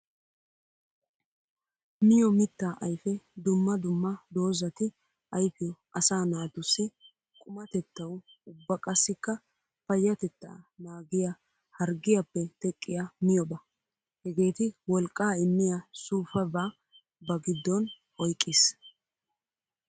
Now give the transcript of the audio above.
Miyo mitta ayfe dumma dumma doozzati ayfiyo asaa naatussi qumatettawu ubba qassikka payatetta naagiya harggiyappe teqqiya miyobba. Hagetti wolqqa immiya suufabba ba gidon oyqqis.